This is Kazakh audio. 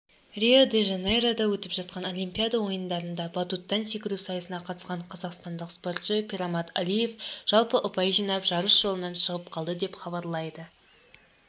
рио-де-жанейрода өтіп жатқан олимпиада ойындарында батуттан секіру сайысына қатысқан қазақстандық спортшы пирмаммад алиев жалпы ұпайжинап жарыс жолынан шығып қалды деп хабарлайды